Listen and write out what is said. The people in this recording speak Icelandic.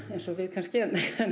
eins og við kannski